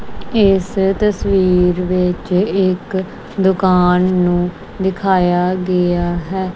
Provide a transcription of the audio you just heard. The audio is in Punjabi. ਇਸ ਤਸਵੀਰ ਵਿੱਚ ਇੱਕ ਦੁਕਾਨ ਨੂੰ ਦਿਖਾਇਆ ਗਿਆ ਹੈ।